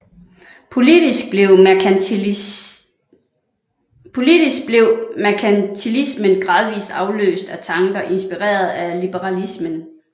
Politisk blev merkantilismen gradvist afløst af tanker inspireret af liberalismen